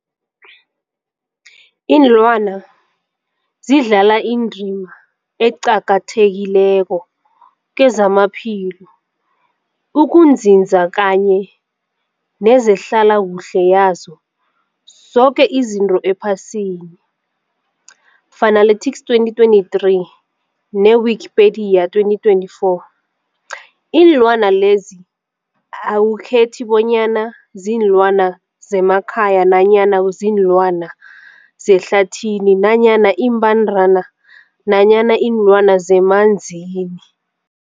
Ilwana zidlala indima eqakathekileko kezamaphilo, ukunzinza kanye nezehlala kuhle yazo zoke izinto ephasini, Fuanalytics 2023, ne-Wikipedia 2024. Iinlwana lezi akukhethi bonyana ziinlwana zemakhaya nanyana kuziinlwana zehlathini nanyana iimbandana nanyana iinlwana zemanzini.